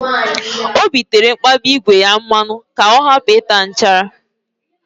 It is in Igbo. Obi tere mkpabi ígwè ya mmanụ ka ọ hapụ ịta nchara